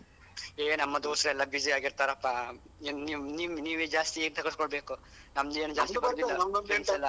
ಏ ನಮ್ಮಾ ದೋಸ್ತೆಲ್ಲಾ ಬ್ಯುಸಿಯಾಗಿ ಇರ್ತರಪ್ಪಾ ನಿಮ್ ನಿಮ್ ನೀವೆ ಜಾಸ್ತಿ ತಗೊಳ್ಸ್ಬೇಕು ನಮ್ದು ಏನೂ ಜಾಸ್ತಿ.